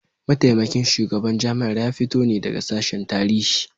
Mataimakin shugaban jami'ar ya fito ne daga sashen Tarihi